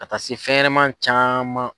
Ka taa se fɛnɲanama caman.